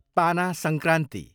पाना संक्रान्ति